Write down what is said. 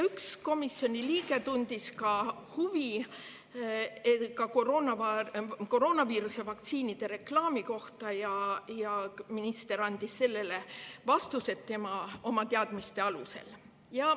Üks komisjoni liige tundis huvi ka koroonaviiruse vaktsiinide reklaami kohta ja minister andis sellele vastused oma teadmiste alusel.